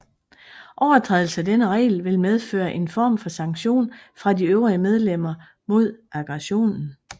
Overtrædelse af denne regel vil medføre en form for sanktion fra de øvrige medlemmer mod aggressoren